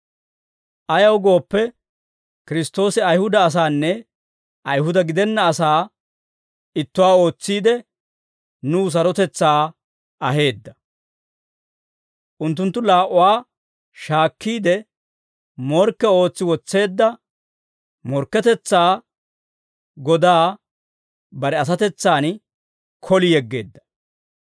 Ayaw gooppe, Kiristtoosi Ayihuda asaanne Ayihuda gidenna asaa ittuwaa ootsiide, nuw sarotetsaa aheedda. Unttunttu laa"uwaa shaakkiide, morkke ootsi wotseedda morkketetsaa godaa bare asatetsan koli yeggeedda.